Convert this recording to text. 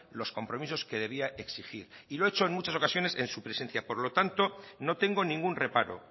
los compromisos que debía exigir y lo he hecho en muchas ocasiones en su presencia por lo tanto no tengo ningún reparo